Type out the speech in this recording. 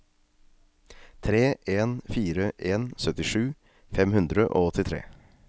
tre en fire en syttisju fem hundre og åttitre